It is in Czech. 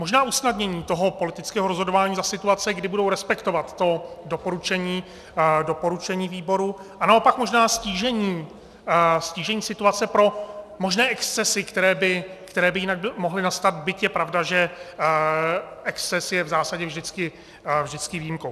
Možná usnadnění toho politického rozhodování za situace, kdy budou respektovat to doporučení výboru, a naopak možná ztížení situace pro možné excesy, které by jinak mohly nastat, byť je pravda, že exces je v zásadě vždycky výjimkou.